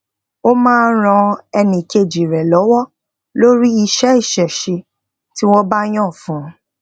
o máa n ran enikeji re lowo lori iṣẹ isese ti won ba yan fún un